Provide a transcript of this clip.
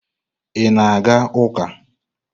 Ị na-aga ụka?